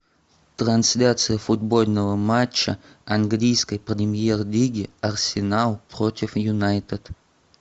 трансляция футбольного матча английской премьер лиги арсенал против юнайтед